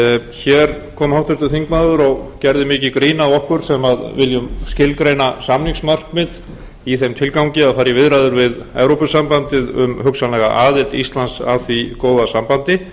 hér kom háttvirtur þingmaður og gerði mikið grín að okkur sem viljum skilgreina samningsmarkmið í þeim tilgangi að fara í viðræður við evrópusambandið um hugsanlega aðild íslands að því góða sambandi